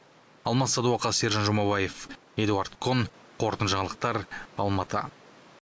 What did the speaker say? алмас садуақас сержан жұмабаев эдуард кон қорытынды жаңалықтар алматы